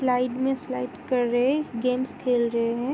Slide में slide कर रहे हैं। गेम्स खेल रहे हैं।